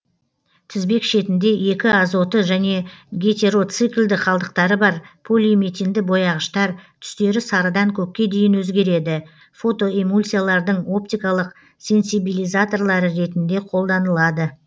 тізбек шетінде екі азоты және гетероциклді қалдықтары бар полиметинді бояғыштар түстері сарыдан көкке дейін өзгереді фотоэмульсиялардың оптикалық сенсибилизаторлары ретінде қолданылады